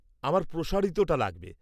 আমার প্রসারিতটা লাগবে।